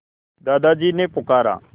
दादाजी ने पुकारा